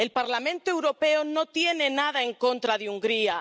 El Parlamento Europeo no tiene nada en contra de Hungría.